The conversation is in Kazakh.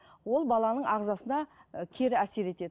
ол баланың ағзасына і кері әсер етеді